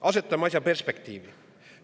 Asetame asja perspektiivi.